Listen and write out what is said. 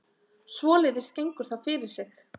Svoleiðis gengur það fyrir sig